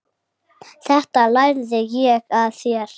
Þetta lærði ég af þér.